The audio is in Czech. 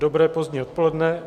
Dobré pozdní odpoledne.